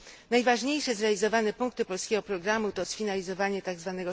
Najważniejsze zrealizowane punkty polskiego programu to sfinalizowanie tzw.